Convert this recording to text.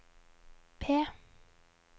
P